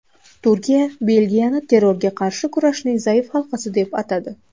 Turkiya Belgiyani terrorga qarshi kurashning zaif halqasi deb atadi.